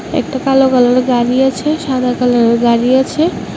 একটা কালো কালারের গাড়ি আছে সাদা কালারের গাড়ি আছে।